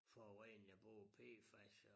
Forurening af både PFAS og